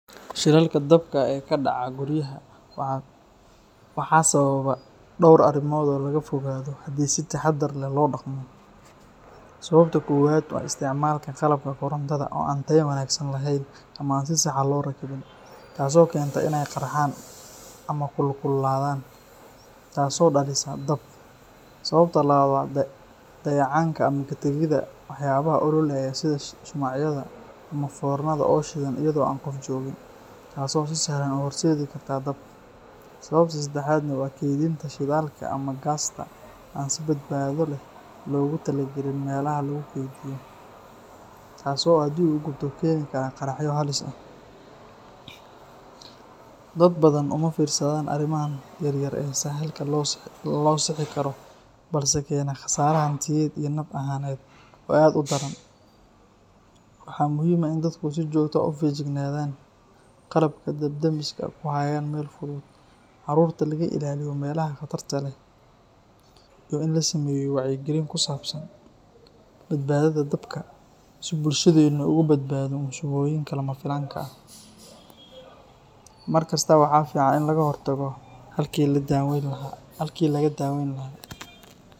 Shilalka dabka e kadaca guryaha waxa sababa door arimood oo laga fogaado hadi si taxadar le loodaqmo. Sawabta kobaad wa isticmalka qalabka qalabka korontada oo aan tayo wanagsan laheyn ama an si sax ah loorakibin taas oo kenta in ey qarxan ama kulkululadan taas oo dalisa dab, sawabta labaad dayacinka ama katagida wax yabaha ololaya sida shumacyada ama fornada oo shidan iyada oon qof joogin taas oo si sahlan horsedi karta dab Sababta sedaxed neh waa kedinta shidalka ama gasta an si badbado leh logutilagalin melaha laguqijiyo taaso hadu uu gubto keni karo qaraxyo halis ah. Dad badan umafirsadan arimahan yaryar e sahalka loo sixikaro balse kena qasaro hantiyed iyo naf ahaned o aad udaran. Waxa muhiim ah dadka in si joogta ah ufijignadan qalabka dab damiska kuhyaan mel fudud, caruurta lagailaaliyo melaha qatarta leh iyo in lasameyo wacyi galin kusaabsan badbadada dabka si bulshadena ugubadbado mashuwoyinka lama filanka ah. Markasta waxa fican in lagahortago halki lagadaweyn laha.